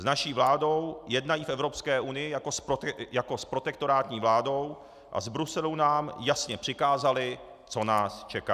S naší vládou jednají v Evropské unii jako s protektorátní vládou a z Bruselu nám jasně přikázali, co nás čeká.